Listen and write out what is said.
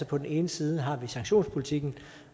på den ene side har vi sanktionspolitikken